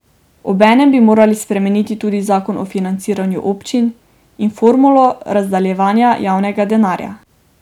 Obenem bi morali spremeniti tudi zakon o financiranju občin in formulo razdeljevanja javnega denarja.